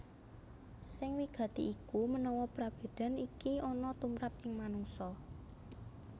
Sing wigati iku menawa prabédan iki ana tumrap ing manungsa